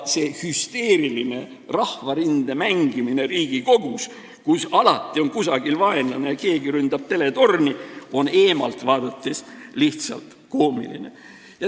See hüsteeriline rahvarinde mängimine Riigikogus, kus alati on kusagil vaenlane ja keegi ründab teletorni, on eemalt vaadates lihtsalt koomiline.